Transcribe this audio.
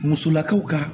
Musolakaw ka